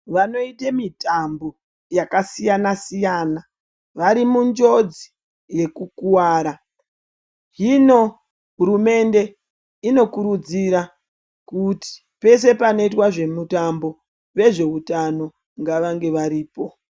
Vanoite mitambo yakasiyana siyana vari munjodzi yekukuwara hino hurumende inokurudzira kuti pese panoitwe zvemitambo vezveutano ngavange varipo.